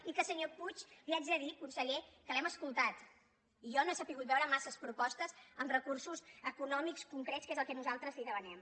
i senyor puig li haig de dir conseller que l’hem escoltat jo no he sabut veure massa propostes amb recursos econòmics concrets que és el que nosaltres li demanem